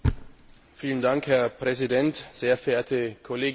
Herr Präsident, sehr verehrte Kolleginnen und Kollegen!